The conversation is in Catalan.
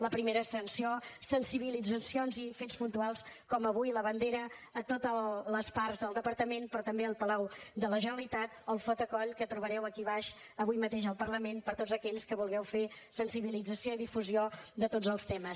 la primera sanció sensibilitzacions i fets puntuals com avui la bandera a totes les parts del departament però també al palau de la generalitat o el photocall que trobareu aquí a baix avui mateix al parlament per a tots aquells que vulgueu fer sensibilització i difusió de tots els temes